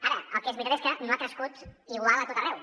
ara el que és veritat és que no ha crescut igual a tot arreu